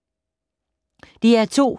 DR2